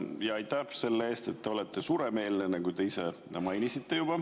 Ja aitäh selle eest, et te olete suuremeelne, nagu te ise mainisite.